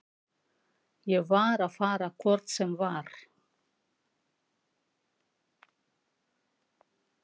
Ég var að fara hvort sem var.